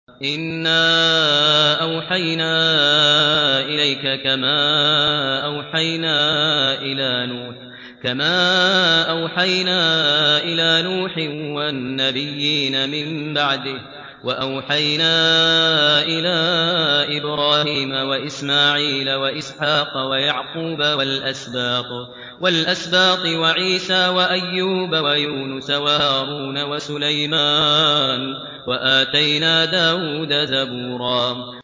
۞ إِنَّا أَوْحَيْنَا إِلَيْكَ كَمَا أَوْحَيْنَا إِلَىٰ نُوحٍ وَالنَّبِيِّينَ مِن بَعْدِهِ ۚ وَأَوْحَيْنَا إِلَىٰ إِبْرَاهِيمَ وَإِسْمَاعِيلَ وَإِسْحَاقَ وَيَعْقُوبَ وَالْأَسْبَاطِ وَعِيسَىٰ وَأَيُّوبَ وَيُونُسَ وَهَارُونَ وَسُلَيْمَانَ ۚ وَآتَيْنَا دَاوُودَ زَبُورًا